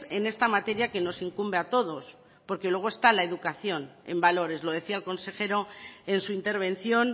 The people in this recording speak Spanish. en esta materia que nos incumbe a todos porque luego está la educación en valores lo decía el consejero en su intervención